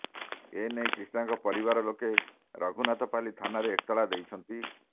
ଏ ନେଇ କ୍ରିଷ୍ଣାଙ୍କ ପରିବାର ଲୋକେ ରଘୁନାଥପାଲି ଥାନାରେ ଏତଲା ଦେଇଛନ୍ତି